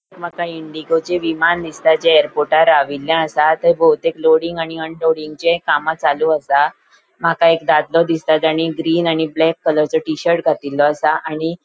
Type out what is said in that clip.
माका इंडिगोचे विमान दिसता जे एयरपोर्टार राविल्ले असा थे बहूतेक लोडिंग आणि अनलोडिंगचे कामा चालू असा माका एक दादलों दिसता तानी ग्रीन आणि ब्लैक कलरचो टी शर्ट घातिल्लो आसा आणि ----